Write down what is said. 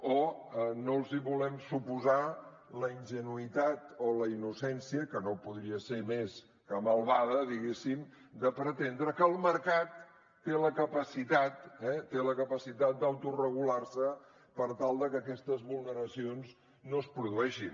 o no els volem suposar la ingenuïtat o la innocència que no podria ser més que malvada diguéssim de pretendre que el mercat té la capacitat eh té la capacitat d’autoregular se per tal de que aquestes vulneracions no es produeixin